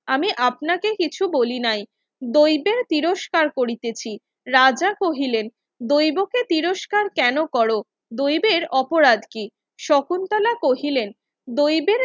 আমি আপনাকে কিছু বলিনাই দৈদের তিরস্কার করিতেছি রাজা কহিলেন দৈবকে তিরস্কার কেন করো দৈবের অপরাধ কি শকুন্তলা কহিলেন দৈবের